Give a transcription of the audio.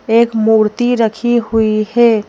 एक मूर्ति रखी हुई है।